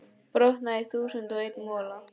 brotnaði í þúsund og einn mola.